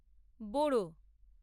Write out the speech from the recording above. বোড়ো